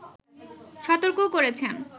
সতর্কও করেছেন